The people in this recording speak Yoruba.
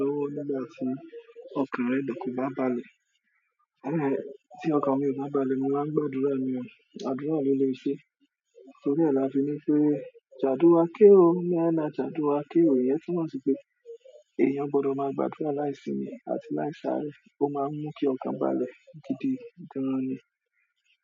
Lówó nígbà tí ọkàn ọrẹ mi kò bá balẹ̀,--- tí ọkàn mi ò bá balẹ̀, mo máa ń gbà àdúrà ni o, àdúrà bi ò lè ṣe. Torí ẹ́ la fi ni pé "sa àdúrà ké o", "na ẹ́ na sa àdúrà ké o", ìyẹn túmọ̀ sí pé èèyàn gbọdọ̀ máa gba àdúrà láì sími àti láì sáré, ó máa ń mú kí ọkàn balẹ̀, gidi gán ni.